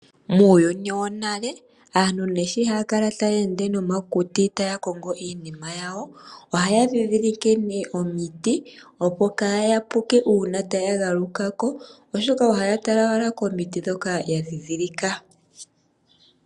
Muuyuni wonale aantu ne shi ya kala taya ende nomakuti taya kongo iinima yawo, ohaya dhidhilike omiti opo kaa ya puke uuna taya galukako, oshoka ohaya tala wala komiti dhoka ya dhidhilika.